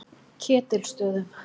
Ketilsstöðum